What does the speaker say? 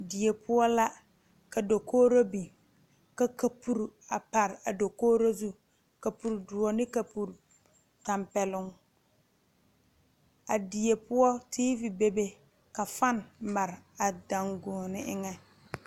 Die poɔ la ka dokogro biŋ ka kapure a pare a dokgro zu kapure doɔ ne kapure tampɛloŋ a die poɔ teevi bebe ka fan mare a danguoɔne eŋɛ.